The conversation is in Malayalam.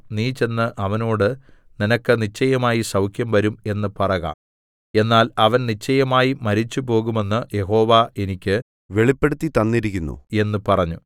നീ ചെന്ന് അവനോട് നിനക്ക് നിശ്ചയമായി സൗഖ്യം വരും എന്ന് പറക എന്നാൽ അവൻ നിശ്ചയമായി മരിച്ചുപോകുമെന്ന് യഹോവ എനിക്ക് വെളിപ്പെടുത്തിത്തന്നിരിക്കുന്നു എന്ന് പറഞ്ഞു